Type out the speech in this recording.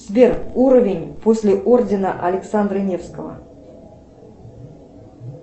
сбер уровень после ордена александра невского